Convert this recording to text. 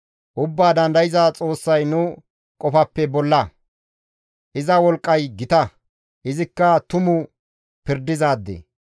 Ubbaa Dandayza Xoossay nu qofappe bolla; iza wolqqay gita; izikka tumu pirdizaade.